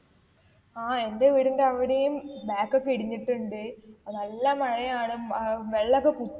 ആ എന്റെ വീടിന്റെ അവിടേം back ഒക്കെ ഇടിഞ്ഞിട്ടുണ്ട് നല്ല മഴയാണ് അഹ് വെള്ളം ഒക്കെ